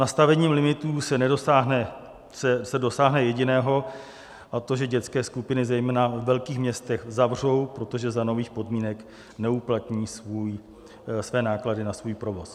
Nastavením limitů se dosáhne jediného, a to že dětské skupiny zejména ve velkých městech zavřou, protože za nových podmínek neuplatní své náklady na svůj provoz.